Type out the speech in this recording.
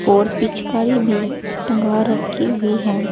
और पिचकारी भी टंगा रखी हुई है।